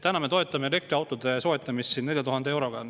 Täna me toetame elektriautode soetamist 4000 euroga.